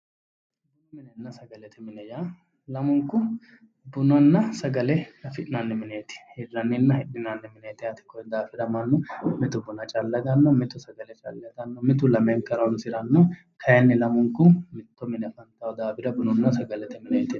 Bunu minenna sagalete mine yaa lamunku bunanna sagale afi'nanni mineeti. Hirranninna hidhinanni mineeti yaate. Kuyi daafira mannu mitu buna calla aganno, mitu sagale calla itanno mitu lamenka horoonsiranno kayinni lamunku mitto mine afantayo daafira bununna sagalete mine yinanni.